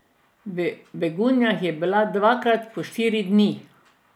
V Begunjah je bila dvakrat po štiri dni.